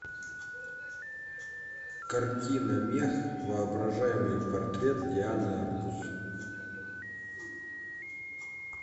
картина мех воображаемый портрет дианы арбус